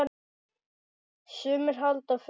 Sumir halda fund.